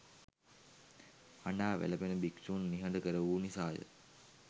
හඬා වැළපෙන භික්ෂූන් නිහඬ කරවූ නිසා ය.